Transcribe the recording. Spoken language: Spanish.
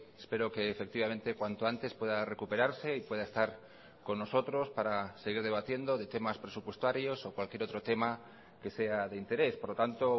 espero que efectivamente cuanto antes pueda recuperarse y pueda estar con nosotros para seguir debatiendo de temas presupuestarios o cualquier otro tema que sea de interés por lo tanto